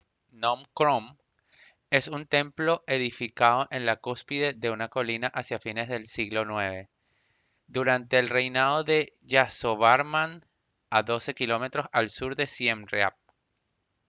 phnom krom es un templo edificado en la cúspide de una colina hacia fines del siglo ix durante el reinado de yasovarman a 12 km al sur de siem reap